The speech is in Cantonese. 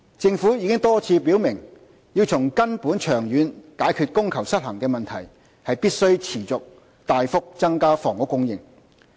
政府已多次表明，要從根本長遠解決供求失衡的問題，必須持續大幅增加房屋供應。